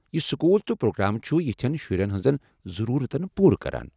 یم سکول تہٕ پروگرام چُھ یتھٮ۪ن شُرٮ۪ن ہٕنٛزن ضروٗرتن پوٗرٕ کران۔